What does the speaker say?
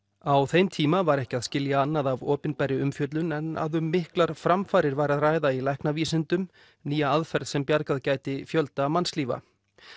á þeim tíma var ekki að skilja annað af opinberri umfjöllun en að um miklar framfarir væri að ræða í læknavísindum nýja aðferð sem bjargað gæti fjölda mannslífa